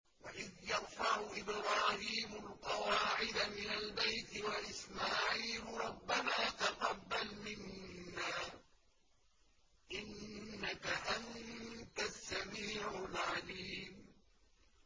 وَإِذْ يَرْفَعُ إِبْرَاهِيمُ الْقَوَاعِدَ مِنَ الْبَيْتِ وَإِسْمَاعِيلُ رَبَّنَا تَقَبَّلْ مِنَّا ۖ إِنَّكَ أَنتَ السَّمِيعُ الْعَلِيمُ